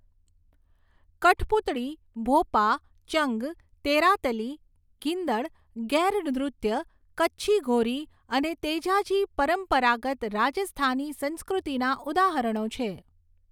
કઠપૂતળી, ભોપા, ચંગ, તેરાતલી, ગીંદડ, ગૈર નૃત્ય, કચ્છી ઘોરી અને તેજાજી પરંપરાગત રાજસ્થાની સંસ્કૃતિના ઉદાહરણો છે.